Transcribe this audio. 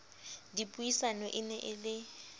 dipuisanong e ne e le